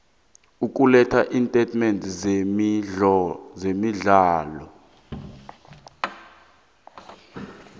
ukuletha iintatimende zemirholo